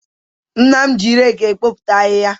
Nna m ji reki ekpokọta ahịhịa.